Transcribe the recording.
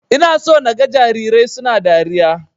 Ina so naga jarirai suna dariya.